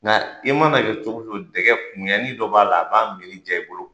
Nka i mana kɛ cogo cogo, dɛgɛ kumuyani dɔ b'a la, a b'a minni diya i bolo.